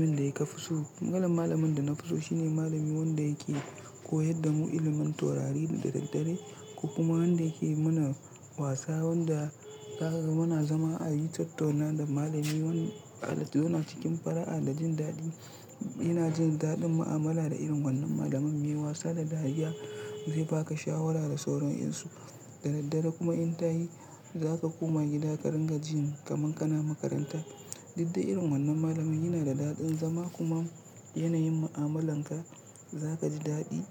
Abun da ka fi so. Malam, malamin da na fi so shine malami wanda yake koyar da mu ilimin taurari da daddare ko kuma wanda yake mana wasa wanda kaga muna zama a yi tattaunawa da malami. Wannan al'adu na cikin fara'a da jin daɗi. Ina jin daɗin mu'amala da irin wannan malamin mai wasa da dariya zai ba ka shawara da sauranansu. Da daddare kuma in ta yi za ka koma gida ka ringa jin kamar kana makaranta. Didde irin wannan malamin yana da daɗin zama kuma yanayin mu'amalanka za ka ji daɗi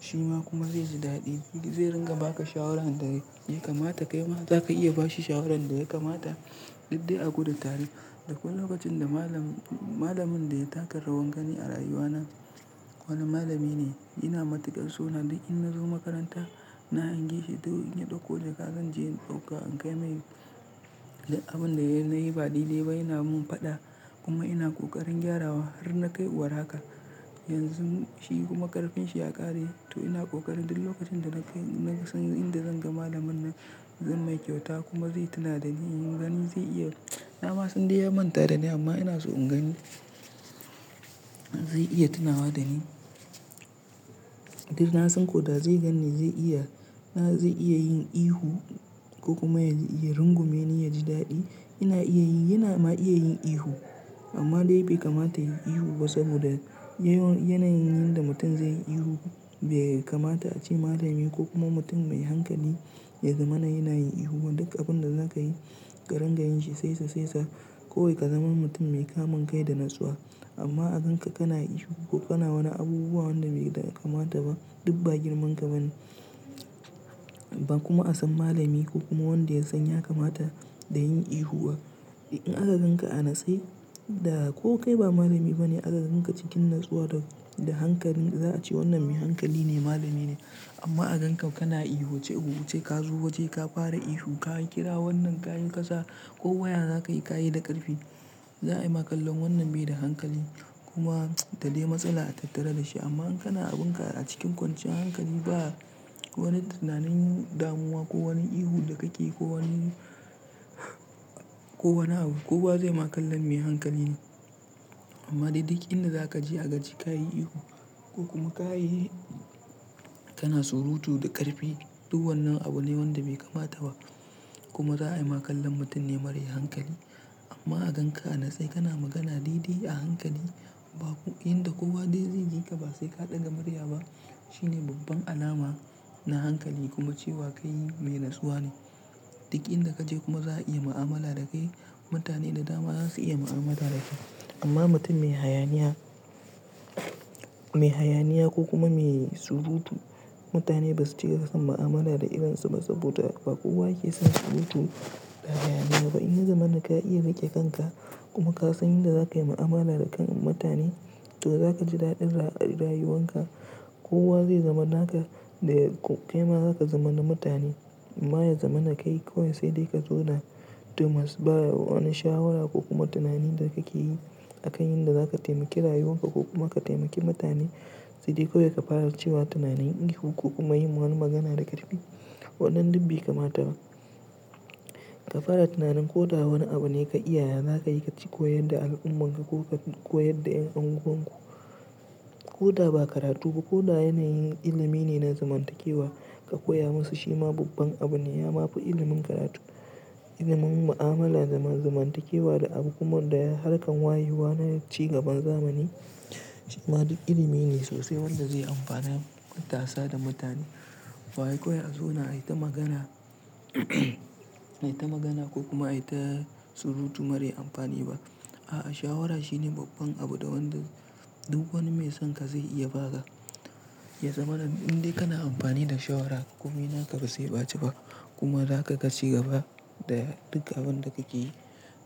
shi ma kuma zai ji daɗi. Zai ringa ba ka shawarar da ya kamata kai ma za ka iya ba shi shawarar da ya kamata didde a gudu tare. Dakwai lokacin da malamin, malamin da ya taka rawar gani a rayuwana wannan malami ne. Yana matukar so na dan in na zo makaranta, na hange shi duk in ya ɗauko jaka zan je in ɗauka in kai mai duk abin da na yi na ba daidai ba yana mun faɗa kuma ina ƙoƙarin gyarawa har na kai iwar haka. Yanzu shi kuma ƙarfinshi ya ƙare to ina kokarin duk lokacin da na kai, na san inda zan ga malamin nan zai mai kyauta kuma zai tuna da ni. In gani zai iya, na ma sandai ya manta da ni amma ina so in gani zai iya tunawa da ni. Dan na san ko da zai ganni zai iya, na zai iya yin ihu ko kuma ya iya rungume ni ya ji daɗi. Ina iya yi, yana ma iya yin ihu amma dai bai kamata yayi ihu ba saboda, yanayin da mutum zai yi ihu bai kamata a ce malami ko kuma mutum mai hankali ya zama na yanayin ihu ba. Duk abin da za ka yi ka ringa yin shi saisa-saisa kawai ka zama mutum mai kamun kai da natsuwa amma a ganka kana ihu ko kana wani abubuwa wanda bai kamata ba, duk ba girman ka bane. Ba kuma a san malami ko kuma wanda ya san ya kamata da yin ihu ba. In aka ganka a natse da ko kai ba malami bane aka ganka cikin natsuwa da, da hankali za a ce wannan mai hankali ne, malami ne amma a gankan kana ihu ce huce ka zo waje ka fara ihu ka kira wannan kayi kaza ko waya za ka yi ka yi da ƙarfi. Za a yi ma kallon wannan bai da hankali kuma da dai matsala a tattare da shi amma in kana abun ka a cikin kwanciyan hankali ba wani tunanin damuwa ko wani ihu da kake yi ko wani, ko wani abu kowa zai ma kallon mai hankali ne. Amma dai duk in da za ka je a ga cewa ka yi ihu ko kuma ka yi, kana surutu da ƙarfi duk wannan abu ne wanda bai kamata ba kuma za a yi ma kallon mutum ne marar hankali. Amma a ganka anatse kana magana daidai a hankali ba ku, inda kowa dai zai ji ka ba sai ka ɗaga murya ba shine babban alama na hankali kuma cewa kai mai natsuwa ne. Duk inda ka je kuma za a iya mu'amala da kai. Mutane da dama za su iya mu'amala da kai amma mutum mai hayaniya, mai hayaniya ko kuma mai surutu mutane ba su cika son mu'amala da irin su ba saboda ba kowa yake son surutu da hayaniya ba. In ya zamana ka iya riƙe kanka kuma ka san yadda za ka yi mu'amala da kan mutane to za ka ji daɗin rayuwan ka. Kowa zai zama naka da kai ma za ka zama na mutane. Amma ya zama na kai kawai sai dai ka zawna dumus ba wani shawara ko kuma tunanin da kake yi a kan yadda za ka taimaki rayuwan ka ko kuma ka taimaki mutane. Sai dai kawai ka fara cewa tunanin ihu ko kuma yin wani magana da ƙarfi wannan duk bai kamata ba. Ka fara tunanin ko da wani abu ne ka iya ya za ka yi ka cika yadda al'umman ka ko ka koyar da 'yan anguwanku. Ko da ba karatu ba ko da yanayin ilimi ne na zamantakewa ka koya musu shi ma babban abu ne. Ya babu ilimin karatu, ilimin mu'amala, zamantakewa da abu kuma da harkar wayewa na ci gaban zamani. Shi ma duk ilimi ne sosai wanda zai amfani matasa da mutane. Ba wai kawai a zauna a yi ta magana, a yi ta magana ko kuma a yi ta surutu mara amfani ba. A'a, shawara shine babban abu da wanda duk wani mai son ka zai iya ba ka. Ya zama na in dai kana amfani da shawara komai naka ba sai ɓace ba kuma za ka ci gaba da duk abin da kake yi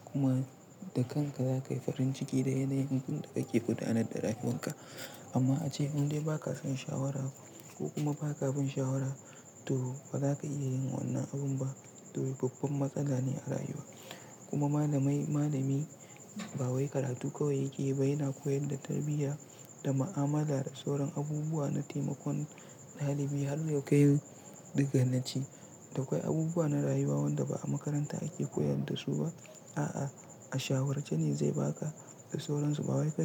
kuma da kanka za ka yi farin ciki da yanayin duk da kake gudanar da rayuwan ka. Amma a ce in dai ba ka son shawara ko kuma ba ka bin shawara to ba za ka iya yin wannan abun ba. To babban matsala ne a rayuwa. Kuma malamai, malamai ba wai karatu kawai yake yi ba yana koyar da tarbiyya da mu'amala da sauran abubuwa na taimakon ɗalibi har lokacin ɗiga naci. Da akwai abubuwa na rayuwa wanda ba a makaranta ake koyar da su ba. A'a, a shawarce ne zai ba ka da sauransu ba wai kawai ka.